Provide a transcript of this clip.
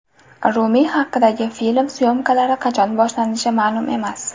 Rumiy haqidagi film syomkalari qachon boshlanishi ma’lum emas.